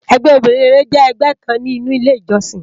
Ègbè óbirin réré jè ègbè kán ninú ilé ijòsín